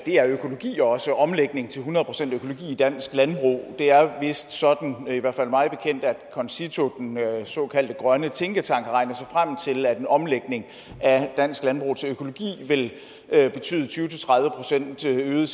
er økologi også omlægning til hundrede procent økologi i dansk landbrug det er vist sådan i hvert fald mig bekendt at concito den såkaldte grønne tænketank har regnet sig frem til at en omlægning af dansk landbrug til økologi vil betyde tyve til tredive procent øget